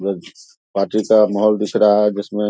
party का महौल दिख रहा है जिसमे --